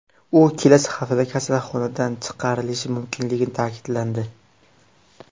U kelasi haftada kasalxonadan chiqarilishi mumkinligi ta’kidlandi.